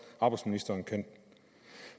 at arbejdsministeren kan